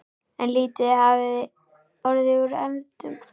En lítið hafði orðið úr efndum.